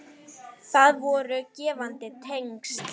Það voru gefandi tengsl.